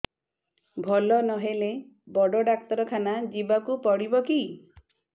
ଭଲ ନହେଲେ ବଡ ଡାକ୍ତର ଖାନା ଯିବା କୁ ପଡିବକି